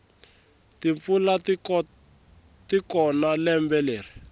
timpfula tikona lembe leri